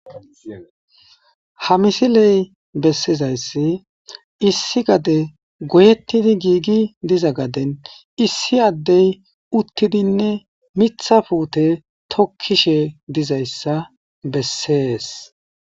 Ha misiley bessizayssi issi gade goyettidi giigi diza gaden issi addey uttidinne mitha puute tokkishe dizayssa bessees.